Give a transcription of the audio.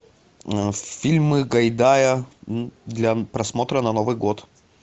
фильмы гайдая для просмотра на новый год